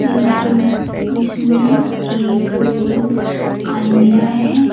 इस इसमें एक आलमीरा है।